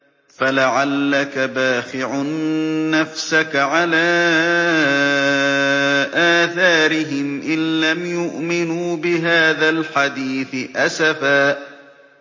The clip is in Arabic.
فَلَعَلَّكَ بَاخِعٌ نَّفْسَكَ عَلَىٰ آثَارِهِمْ إِن لَّمْ يُؤْمِنُوا بِهَٰذَا الْحَدِيثِ أَسَفًا